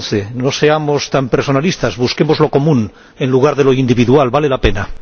2011. No seamos tan personalistas, busquemos lo común en lugar de lo individual, vale la pena.